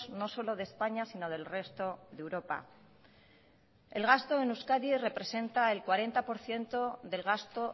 no solo de españa sino del resto de europa el gasto en euskadi representa el cuarenta por ciento del gasto